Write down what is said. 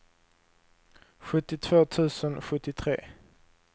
sjuttiotvå tusen sjuttiotre